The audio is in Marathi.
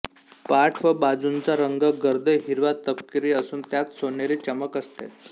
पाठ व बाजूंचा रंग गर्द हिरवा तपकिरी असून त्यात सोनेरी चमक असते